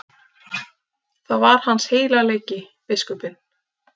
Það var hans heilagleiki, biskupinn.